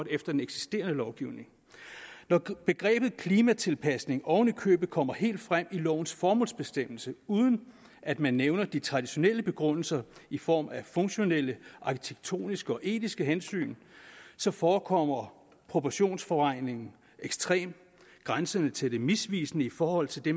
efter den eksisterende lovgivning når begrebet klimatilpasning oven i købet kommer helt frem i lovens formålsbestemmelse uden at man nævner de traditionelle begrundelser i form af funktionelle arkitektoniske og etiske hensyn forekommer proportionsforvrængningen ekstrem grænsende til det misvisende i forhold til det